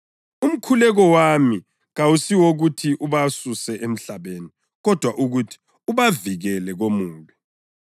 Umkhuleko wami kawusi wokuthi ubasuse emhlabeni, kodwa ukuthi ubavikele komubi.